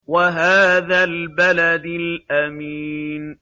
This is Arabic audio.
وَهَٰذَا الْبَلَدِ الْأَمِينِ